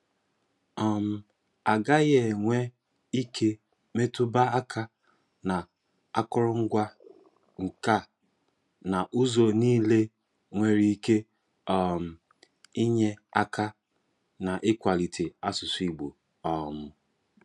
um A gaghị enwe ike e metụba aka n'akọrọngwa nka na ụzọ niile nwere ike um inye aka n'ikwalite asụsụ igbo um